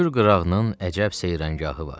Kür qırağının əcəb seyrəngahı var.